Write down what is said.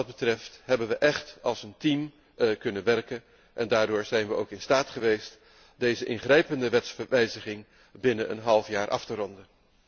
We hebben echt als een team kunnen werken en daardoor zijn we ook in staat geweest deze ingrijpende wetswijziging binnen een half jaar af te ronden.